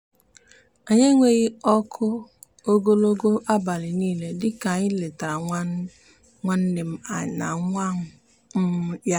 anyị enweghị ọkụ ogologo abalị niile dịka anyị letara nwa nwanne nna m na nwa um ya.